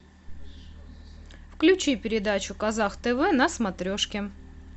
включи передачу казах тв на смотрешке